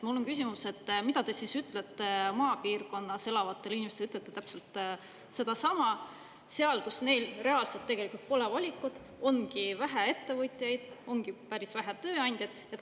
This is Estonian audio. Mul on küsimus, et mida te siis ütlete maapiirkonnas elavatele inimestele, ütlete täpselt sedasama seal, kus neil reaalselt tegelikult pole, valikut, ongi vähe ettevõtjaid, ongi päris vähe tööandjaid.